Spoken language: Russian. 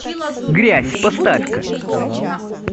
грязь поставь ка